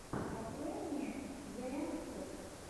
открой мне зээм топ